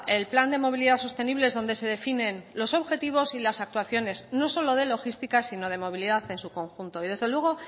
el plan de movilidad sostenible es donde se definen los objetivos y las actuaciones no solo de logística sino de movilidad en su conjunto y desde luego